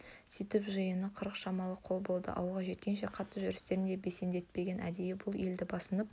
сөйтіп жиыны қырық шамалы қол болды ауылға жеткенше қатты жүрістерін де бесендетпеген әдейі бұл елді басынып